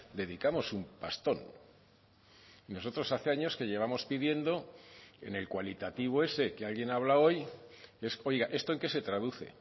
dedicamos un pastón y nosotros hace años que llevamos pidiendo en el cualitativo ese que alguien ha hablado hoy es oiga esto en qué se traduce